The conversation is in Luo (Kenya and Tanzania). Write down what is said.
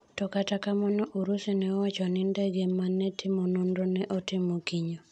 To kata kamano Urusi ne owachoni ndege no manetimo nonro ne otimo kinyo.